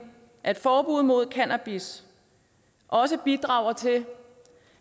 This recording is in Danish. at forbud mod cannabis også bidrager til